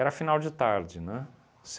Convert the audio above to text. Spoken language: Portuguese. final de tarde, né?